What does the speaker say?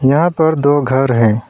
यहां पर दो घर है।